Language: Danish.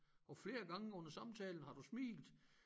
Og flere gange under samtalen har du smilt